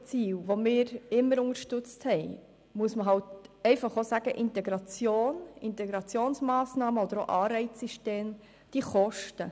Dies haben wir immer unterstützt, und dazu muss man aber auch sagen, dass Integration, Integrationsmassnahmen oder auch Anreizsysteme kosten.